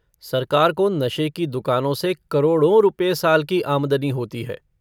सरकार को नशे की दुकानों से करोड़ों रुपये साल की आमदनी होती है।